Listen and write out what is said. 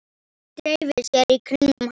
Dreifi sér í kringum hann.